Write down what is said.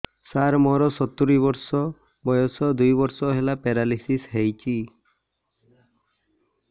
ସାର ମୋର ସତୂରୀ ବର୍ଷ ବୟସ ଦୁଇ ବର୍ଷ ହେଲା ପେରାଲିଶିଶ ହେଇଚି